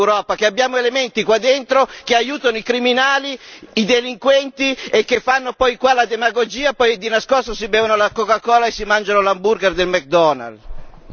Questa è la schifezza dell'Europa che abbiamo elementi qua dentro che aiutano i criminali, i delinquenti e che fanno poi qua la demagogia, poi di nascosto si bevono la Coca Cola e si mangiano l'hamburger del McDonald.